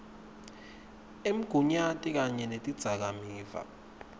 emgunyati kanye netidzakamiva